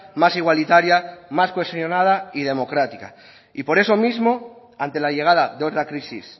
más igualitaria más cohesionada y democrática y por eso mismo ante la llegada de otra crisis